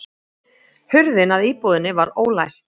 Hurðin að íbúðinni var ólæst